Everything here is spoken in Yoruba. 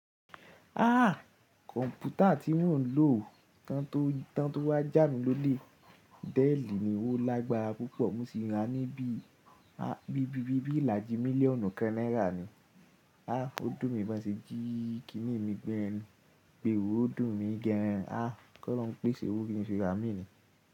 Ah kọ̀npútà tí mọ́ ń lò tán tó wá jà'mi lólè, déèlì ni ó lágbára púpọ̀, mo sí i rà ní bí ìlàjì mílíọ̀nù kan náírà ni. Ah ó dùn mi bi wọ́n ṣe jí, kí nì mi gbé e wò, ó dùn mi gan an. Ah kí ọlọ́run pèsè owó fún mi ṣe àmì ni.